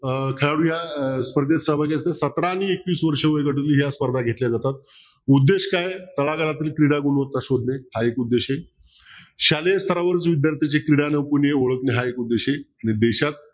अं खेळाडू या स्पर्धेत सहभागी असतात सतरा आणि एकवीस वर्षे वयोगटातील या स्पर्धा घेतल्या जातात उद्देश काय घराघरातील क्रीडा गुणवत्त शोधले हा एक उपदेश आहे शालेय स्थरावरील विधार्थी जे क्रीडा ओळखले आहेत आणि देशात